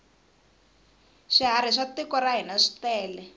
swiharhi swa tiko ra hina switele